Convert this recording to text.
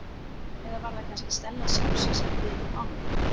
Eða var það kannski Stella sjálf sem setti þig inn í málin?